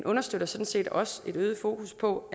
understøtter sådan set også et øget fokus på